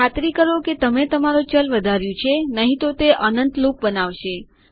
ખાતરી કરો કે તમે તમારું ચલ વધાર્યું છે નહિ તો તે અનંત લૂપ બનાવશે